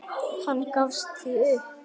Hann gafst því upp.